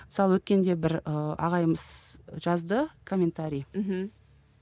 мысалы өткенде бір ыыы ағайымыз жазды комментарий мхм